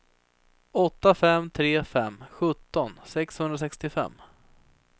åtta fem tre fem sjutton sexhundrasextiofem